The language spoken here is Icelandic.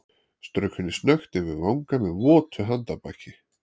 Strauk henni snöggt yfir vanga með votu handarbaki.